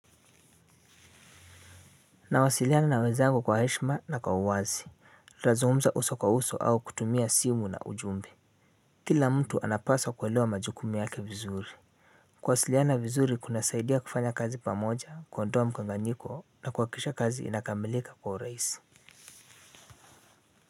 Nawasiliana na wenzangu kwa heshima na kwa uwazi. Nazungumza uso kwa uso au kutumia simu na ujumbe. Kila mtu anapaswa kuelewa majukumu yake vizuri. Kuwasiliana vizuri kuna saidia kufanya kazi pamoja kuondoa mkanganyiko na kuwakikisha kazi inakamilika kwa urahisi.